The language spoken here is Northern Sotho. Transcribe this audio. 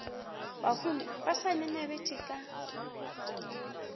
bahumi ba sa ngangabetše ka